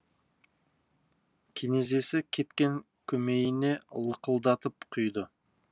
кенезесі кепкен көмейіне лықылдатып құйды